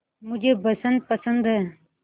मुझे बसंत पसंद है